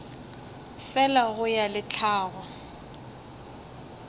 fela go ya le tlhago